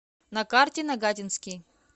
на карте нагатинский